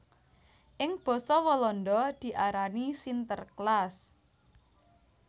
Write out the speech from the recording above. Ing basa Walanda diarani Sinterklaas